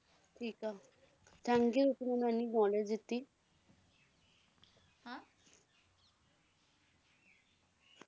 ਠੀਕ ਆ thank you ਇੰਨੀ knowledge ਦਿੱਤੀ।